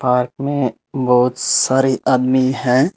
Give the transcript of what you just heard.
Park में बहुत सारे आदमी हैं।